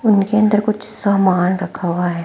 उनके अंदर कुछ सामान रखा हुआ है।